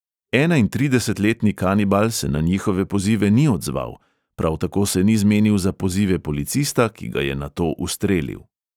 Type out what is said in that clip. Enaintridesetletni kanibal se na njihove pozive ni odzval, prav tako se ni zmenil za pozive policista, ki ga je nato ustrelil.